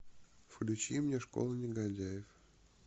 включи мне школа негодяев